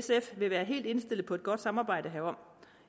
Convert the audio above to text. sf vil være helt indstillet på et godt samarbejde herom